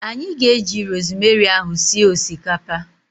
Anyị ga-eji rosemary ahu sie osikapa